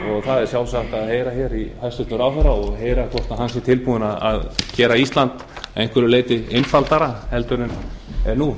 það er sjálfsagt að heyra hjá hæstvirtum ráðherra hvort hann sé tilbúinn til að gera ísland að einhverju leyti einfaldara en það er nú